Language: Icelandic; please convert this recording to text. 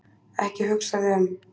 Ekki hugsa þig um.